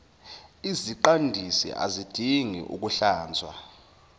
iziqandisi azidingi ukuhlanzwa